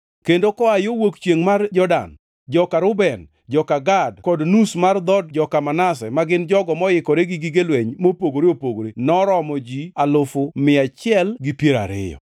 kendo koa yo wuok chiengʼ mar Jordan, joka Reuben, joka Gad kod nus mar dhood joka Manase ma gin jogo moikore gi gige lweny mopogore opogore noromo ji alufu mia achiel gi piero ariyo (120,000).